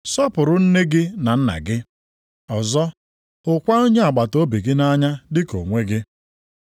Sọpụrụ nne gị na nna gị. + 19:19 \+xt Ọpụ 20:12-16; Dit 5:16-20\+xt* Ọzọ, hụkwa onye agbataobi gị nʼanya dị ka onwe gị.’ + 19:19 \+xt Lev 19:18\+xt* ”